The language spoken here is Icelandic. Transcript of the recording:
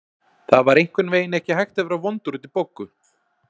Það var einhvern veginn ekki hægt að vera vondur út í Boggu.